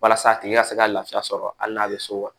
Walasa a tigi ka se ka lafiya sɔrɔ hali n'a bɛ so wa